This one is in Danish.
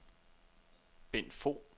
Bendt Fogh